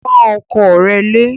Pọ́n ọkọ rẹ lé!